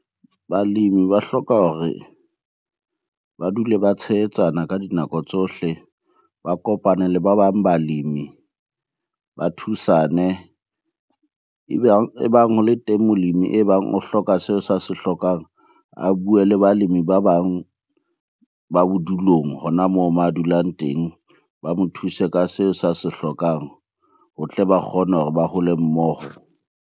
Balemi ba hloka hore ba dule ba tshehetsana ka dinako tsohle, ba kopane le ba bang balemi, ba thusane. E bang ho le teng molemi e bang o hloka seo sa se hlokang, a bue le balemi ba bang ba bodulong hona moo mo a dulang teng. Ba mo thuse ka seo sa se hlokang ho tle ba kgone hore ba hole mmoho.